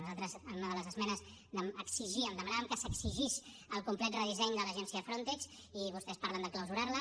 nosaltres en una de les esmenes exigíem demanàvem que s’exigís el complet redisseny de l’agència frontex i vostès parlen de clausurar la